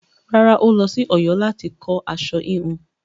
Rárá, ó lọ sí Ọ̀yọ́ láti kọ́ aṣọ híhun.